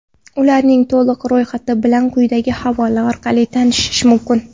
Ularning to‘liq ro‘yxati bilan quyidagi havola orqali tanishish mumkin.